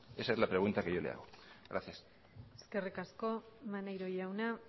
esa es la pregunta que yo le hago gracias eskerrik asko maneiro jauna